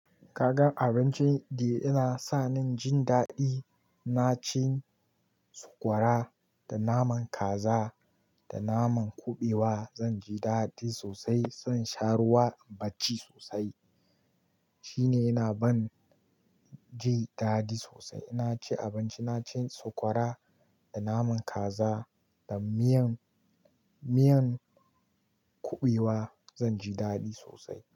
Ka gan abincin da yana sa ni jin daɗi? Na ci sokwara da naman kaza da naman kuɓewa. Zan ji daɗi sosai, zan sha ruwa bacci sosai. Shine yana ban jin daɗi sosai. Ina cin abinci, na ci sokwara da naman kaza da miyan, miyan kuɓewa. Zan ji daɗi sosai.